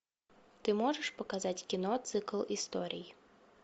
ты можешь показать кино цикл историй